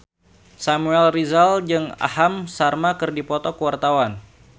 Samuel Rizal jeung Aham Sharma keur dipoto ku wartawan